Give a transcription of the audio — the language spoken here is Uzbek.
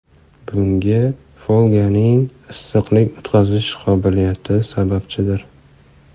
Bunga folganing issiqlik o‘tkazish qobiliyati sababchidir.